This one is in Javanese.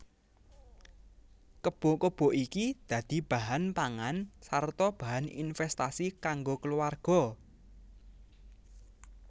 Kebo kebo iki dadi bahan pangan sarta bahan invèstasi kanggo kulawarga